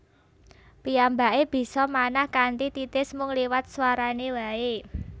Piyambake bisa manah kanthi titis mung liwat swarane wae